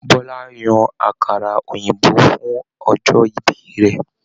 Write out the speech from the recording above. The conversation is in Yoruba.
Bọla yan àkàrà òyìnbó fún ọjọ ìbí rẹ